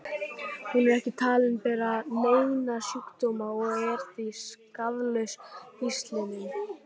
Hún er ekki talin bera neina sjúkdóma og er því skaðlaus hýslinum.